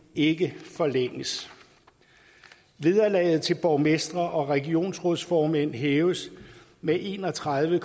ikke forlænges vederlaget til borgmestre og regionsrådsformænd hæves med en og tredive